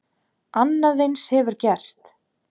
Annað eins hefur gerst!